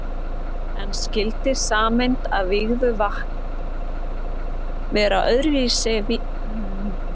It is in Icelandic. En skyldi sameind af vígðu vatn vera öðru vísi en venjuleg vatnssameind?